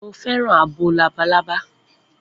Mo fẹ́ràn abo labalábá.